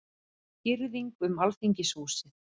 Girðing um Alþingishúsið